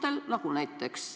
Ei, see ei ole tore.